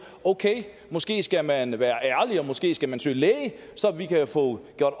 okay måske skal man være ærlig og måske skal man søge læge så vi kan få gjort